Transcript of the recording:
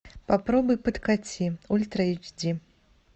попробуй подкати ультра эйч ди